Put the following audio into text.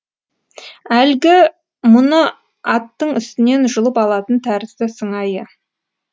әлгі мұны аттың үстінен жұлып алатын тәрізді сыңайы